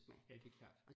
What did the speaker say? Ja det klart